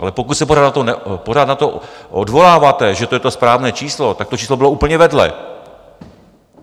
Ale pokud se pořád na to odvoláváte, že to je to správné číslo, tak to číslo bylo úplně vedle!